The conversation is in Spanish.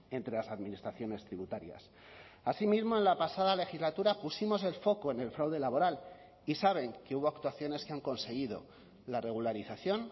entre las administraciones tributarias así mismo en la pasada legislatura pusimos el foco en el fraude laboral y saben que hubo actuaciones que han conseguido la regularización